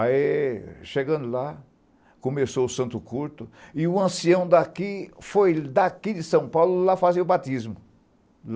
Aí, chegando lá, começou o Santo Curto, e o ancião daqui foi, daqui de São Paulo, lá fazer o batismo.